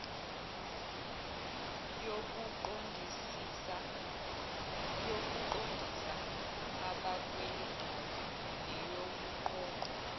yokuqondisa abakweletayo neyokuqoqwa